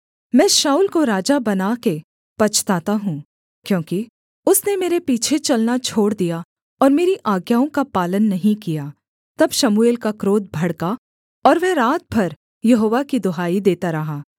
मैं शाऊल को राजा बना के पछताता हूँ क्योंकि उसने मेरे पीछे चलना छोड़ दिया और मेरी आज्ञाओं का पालन नहीं किया तब शमूएल का क्रोध भड़का और वह रात भर यहोवा की दुहाई देता रहा